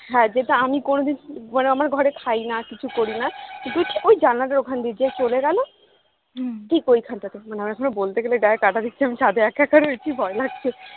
হ্যা যেটা আমি কোনোদিন মানে আমার ঘরে খাই না কিছু করি না দেখি ওই জানালাটার ওখান দিয়ে যে চলে গেলো ঠিক ওইখানটাতে মানে আমার এখনো বলতে গেলে গায়ে কাটা দিচ্ছে আমি ছাদে আছি ভয় লাগছে